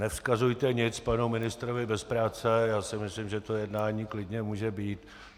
Nevzkazujte nic panu ministrovi bez práce, já si myslím, že to jednání klidně může být.